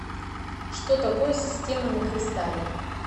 что такое система на кристалле